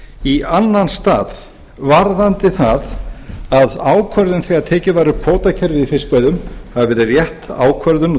í annan stað varðandi það að ákvörðun þegar tekið var upp kvótakerfið í fiskveiðum hafi verið rétt ákvörðun